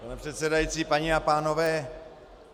Pane předsedající, paní a pánové.